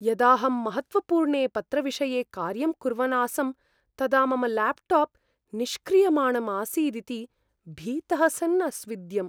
यदाहं महत्त्वपूर्णे पत्रविषये कार्यं कुर्वन् आसं, तदा मम ल्याप्टाप् निष्क्रियमाणं आसीदिति भीतः सन् अस्विद्यम्।